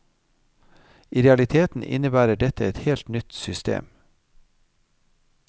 I realiteten innebærer dette et helt nytt system.